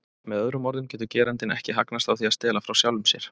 Með öðrum orðum getur getur gerandinn ekki hagnast á því að stela frá sjálfum sér.